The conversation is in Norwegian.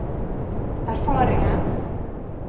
erfaringen